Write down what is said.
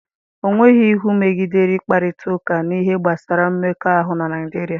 Ọ nweghị iwu megidere ịkparịta ụka n'ihe gbasara mmekọahụ na Naịjirịa?